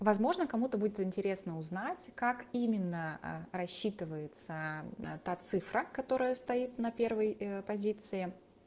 возможно кому-то будет интересно узнать как именно рассчитывается та цифра которая стоит на первой позиции